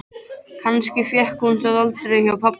Kannski fékk hún það aldrei hjá pabba.